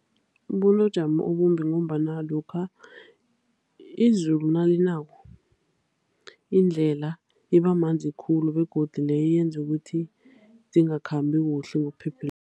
obumbi ngombana lokha izulu nalinako, indlela iba manzi khulu. Begodu leyo yenza ukuthi zingakhambi kuhle ngokuphephileko.